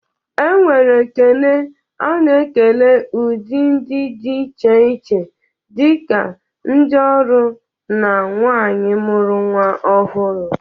Enwere ekele a na-ekele udị ndị dị iche iche dị ka ndị ọrụ na nwaanyị mụru nwa ọhụrụ.